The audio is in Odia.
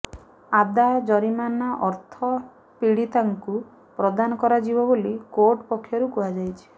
ଆଦାୟ ଜରିମାନା ଅର୍ଥ ପୀଡ଼ିତାଙ୍କୁ ପ୍ରଦାନ କରାଯିବ ବୋଲି କୋର୍ଟ ପକ୍ଷରୁ କୁହାଯାଇଛି